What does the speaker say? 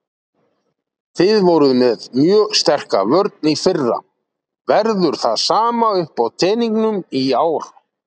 Þið voruð með mjög sterka vörn í fyrra, verður það sama uppá teningnum í ár?